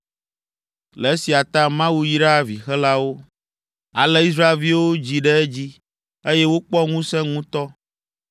Le esia ta Mawu yra vixelawo. Ale Israelviwo dzi ɖe edzi, eye wokpɔ ŋusẽ ŋutɔ.